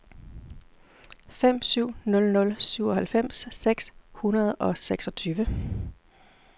fem syv nul nul syvoghalvfems seks hundrede og seksogtyve